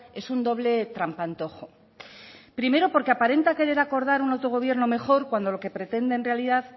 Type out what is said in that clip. es un doble trampantojo primero porque aparenta querer acordar un autogobierno mejor cuando lo que pretenden en realidad